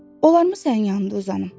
Olar mı sənin yanında uzanam?